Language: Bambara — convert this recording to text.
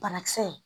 Banakisɛ